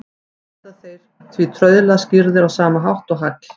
Verða þeir því trauðla skýrðir á sama hátt og hagl.